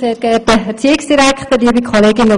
Wir lehnen die Initiative deshalb ab.